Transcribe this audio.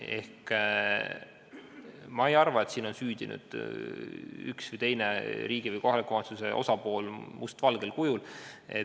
Ma ei arva, et siin on süüdi üks või teine riigi või kohaliku omavalitsuse osapool mustvalgel kujul.